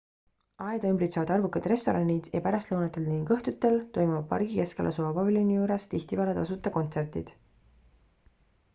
aeda ümbritsevad arvukad restoranid ja pärastlõunatel ning õhtudel toimuvad pargi keskel asuva paviljoni juures tihtipeale tasuta kontsertid